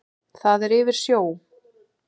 Það er yfir sjó.